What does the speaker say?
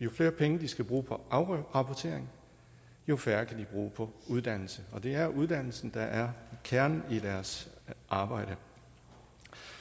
jo flere penge de skal bruge på afrapportering jo færre kan de bruge på uddannelse og det er uddannelsen der er kernen i deres arbejde